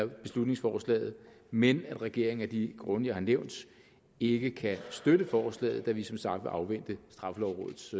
beslutningsforslaget men at regeringen af de grunde jeg har nævnt ikke kan støtte forslaget da vi som sagt vil afvente straffelovrådets